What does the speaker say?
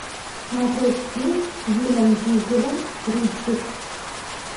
смотреть фильм с вином дизелем риддик